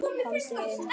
Komdu inn